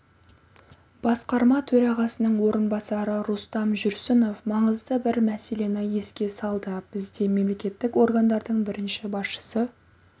басқарма төрағасының орынбасары рустам жүрсінов маңызды бір мәселені еске салды бізде мемлекеттік органдардың бірінші басшысы